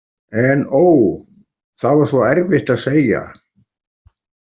En ó, það var svo erfitt að segja.